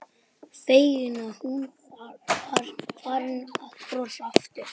Feginn að hún var farin að brosa aftur.